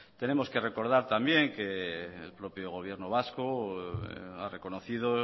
tenemos que recordar también que el propio gobierno vasco ha reconocido